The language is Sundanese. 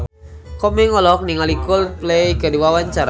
Komeng olohok ningali Coldplay keur diwawancara